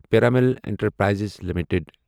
Piramal enterprises limited